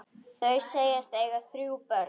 Þau segjast eiga þrjú börn.